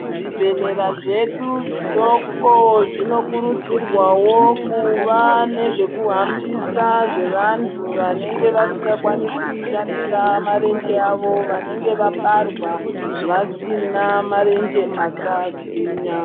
Zvi bhedhlera zvedu zvidoko zvino kurudzirwawo kuva nezve kuhambisa zve vantu vanenge vasinga kwanisi kushandisa marenje awo vanenge vabarwa vasina marenje aka gwinya.